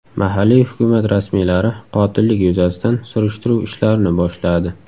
Mahalliy hukumat rasmiylari qotillik yuzasidan surishtiruv ishlarini boshladi.